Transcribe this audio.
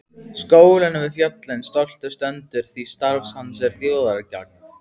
Skólinn við fjöllin stoltur stendur því starf hans er þjóðargagn.